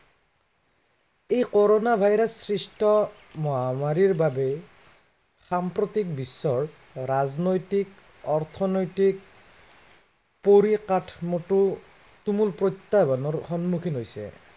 এই corona virus সৃষ্ট মহামাৰীৰ বাবে সাম্প্ৰতিত বিশ্বৰ ৰাজনৈতিক, অৰ্থনৈতিক পৰিকাঠামোৰ তুমুল প্ৰত্য়াহ্বানৰ সন্মুখীন হৈছে।